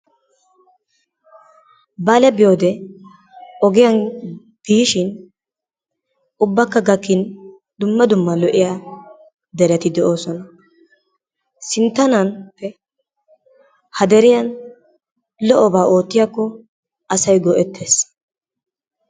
bale biyoode ogiyaan biishin ubbaka hakin dumma dumma lo"iyaa dereti de'oosona. Sinttanan ha deriyaan lo"obaa ottiyaako asay go"eettees.